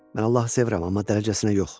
Mən Allahı sevirəm, amma dərəcəsinə yox.